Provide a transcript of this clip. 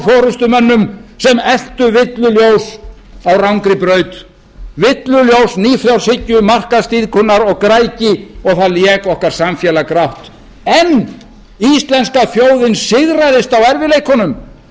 forustumönnum sem eltu villuljós á rangri braut villuljós nýfrjálshyggju markaðsdýrkunar og græðgi og það lék okkar samfélag grátt en íslenska þjóðin sigraðist á erfiðleikunum